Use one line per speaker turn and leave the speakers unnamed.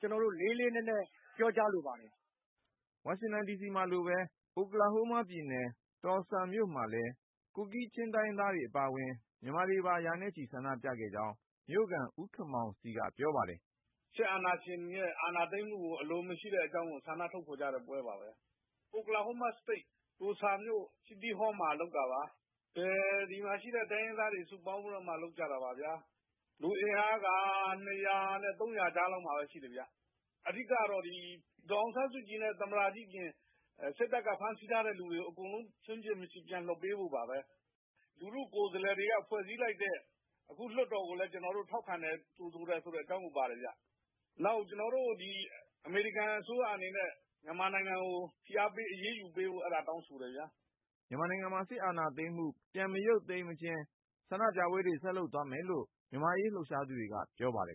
ကျနော်တို့ လေးလေးနက်နက် ပြောလိုပါတယ်။
” ဝါရှင်တန်ဒီစီမှာလိုပဲ အိုကလာဟိုးမားပြည်နယ် တော်လ်ဆာမြို့မှာလည်း ကူကီးချင်းတိုင်းရင်းသားတွေ အပါဝင် မြန်မာတွေပါ ရာနဲ့ချီ ဆန္ဒပြခဲ့ကြောင်း မြို့ခံ ဦးခင်မောင်စီက ပြောပါတယ်။ “ စစ်အာဏာရှင်ရဲ့ အာဏာသိမ်းတာကို အလိုမရှိဘူးဆိုတာ ထုတ်ဖေါ်တဲ့ပွဲပါပဲ။ အိုကလာဟိုးမားပြည်နယ် တော်လ်ဆာမြို့တော် ခန်းမရှေ့မှာ လုပ်တာပါ။ ဒီမှာရှိတဲ့ တိုင်းရင်းသားတွေ စုပေါင်းလုပ်တာပါ။ လူအင်အား ၂၀၀ နဲ့ ၃၀၀ ကြားရှိပါတယ်။ အဓိကတော့ သမ္မတကြီးဦးဝင်းမြင့်နဲ့ ဒေါ်အောင်ဆန်းစုကြည်အပြင် စစ်တပ်က ဖမ်းထားသူတွေ အကုန် ပြန်လွှတ်ပေးဖို့ပါ။ လူထုကိုယ်စားလှယ်တွေနဲ့ ဖွဲ့စည်းလိုက်တဲ့ အခုလွှတ်တော်ကိုယ်စားပြု ကော်မတီကိုလည်း ကျနော်တို့ ထောက်ခံတယ်။ နောက်ပြီး အမေရိကန် အစိုးရက မြန်မာစစ်တပ်ကို ဖိအားပေး အရေးယူဖို့ ကျနော်တို့ တောင်းဆိုထားပါတယ်” မြန်မာနိုင်ငံမှာ စစ်အာဏာသိမ်းမှု ပြန်မရုပ်သိမ်းမချင်း ဆန္ဒပြပွဲတွေ ဆက်လုပ်သွားမယ်လို့ မြန်မာ့အရေးလှုပ်ရှားသူတွေက ပြောပါတယ်